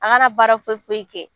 An kana baara foyi foyi kɛ